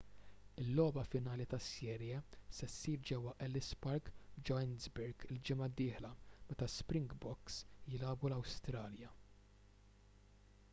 il-logħba finali tas-serje se ssir ġewwa ellis park f'johannesburg il-ġimgħa d-dieħla meta springboks jilagħbu l-awstralja